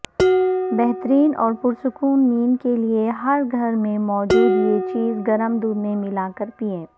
بہترین اور پرسکون نیند کیلئےہر گھر میں موجود یہ چیز گرم دودھ میں ملاکر پیئیں